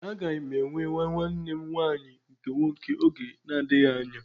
Éè, aga m enwe nwa nwanne m nwanyị nke nwoke oge na-adịghị anya